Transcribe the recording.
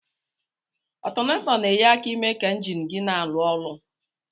Ọtọnator na enye aka ime ka enjin gi na alụ ọlụ.